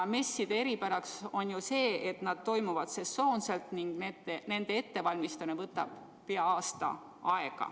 Messide eripäraks on see, et nad toimuvad sesoonselt ning nende ettevalmistamine võtab peaaegu aasta.